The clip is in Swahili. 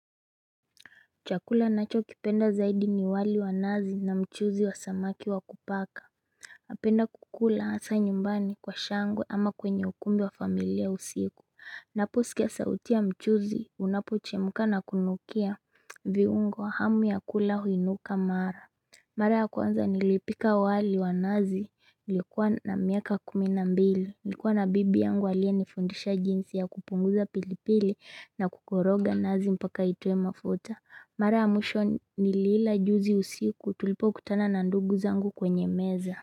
Chakula ninacho kipenda zaidi ni wali wanazi na mchuzi wa samaki wa kupaka napenda kukula asa nyumbani kwa shangwe ama kwenye ukumbi wa familia usiku ninapo sikia sauti ya mchuzi unapo chemka na kunukia viungo hamu ya kula huinuka mara mara ya kwanza nilipika wali wa nazi ilikuwa na miaka kuminambili nilikuwa na bibi yangu aliye nifundisha jinsi ya kupunguza pilipili na kukoroga nazi mpaka itoe mafuta mara ya mwisho niliila juzi usiku tulipo kutana na ndugu zangu kwenye meza.